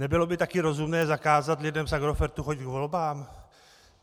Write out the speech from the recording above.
Nebylo by taky rozumné zakázat lidem z Agrofertu chodit k volbám?